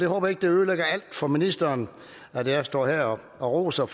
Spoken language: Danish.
håber ikke det ødelægger alt for ministeren at jeg står her og roser